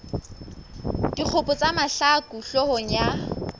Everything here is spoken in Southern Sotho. dikgopo tsa mahlaku hloohong ya